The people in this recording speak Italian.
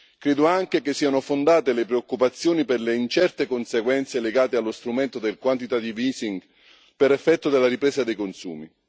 Credo anche che siano fondate le preoccupazioni per le incerte conseguenze legate allo strumento del quantitative easing per effetto della ripresa dei consumi.